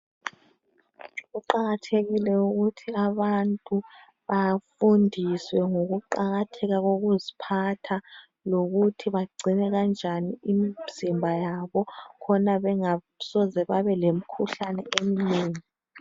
Kuqakathekile ukuthi abantu bafundiswe ngokuqakatheka kokuziphatha lokuthi bagcine kanjani imizimba yabo khona bengasoze babe lemikhuhlane eminengi.